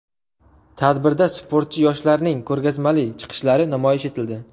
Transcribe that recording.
Tadbirda sportchi yoshlarning ko‘rgazmali chiqishlari namoyish etildi.